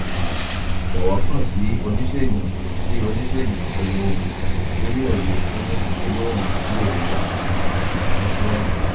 jọ̀wọ́ kàn sí oniṣegun sí oniṣegun gbogbogbò tó ni òye fun igbelewọn ile-iwosan ati itọju siwaju